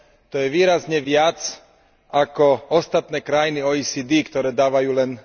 To je výrazne viac ako ostatné krajiny OECD, ktoré dávajú len